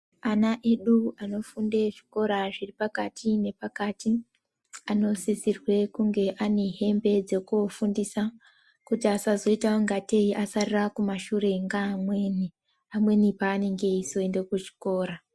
Anaedu anofunde zvikora zvepakati vanosirwe kunge ainehembe dzekufundisa kuti asazoita ungatei asarira kumashure ngamweni amweni panenge eyizoenda kuchikora.